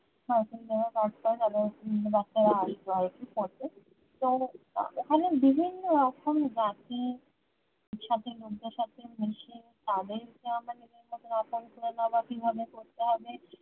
হয়তো যারা কাজ করে তাদের বাচ্ছারা আসবে আরকি পড়তে তো ওখানে বিভিন্ন রকম বাটি shopping মধ্যে shopping machine তাদের কে আমরা নিজের মতো আপন করে নেওয়া কিভাবে করতে হবে